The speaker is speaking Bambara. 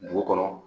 Dugu kɔnɔ